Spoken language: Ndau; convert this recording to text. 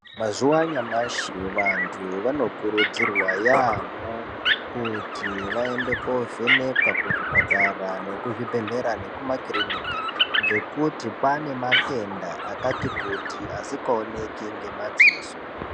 Mazuwanyamashe vantu vanokurudzirwa yamo kuti vayende kovhenekwa kuzvipatara, nekuzvibhedhlera nekumakirinika, ngekuti panematenda akati kuti asikowoneki ngemadziso.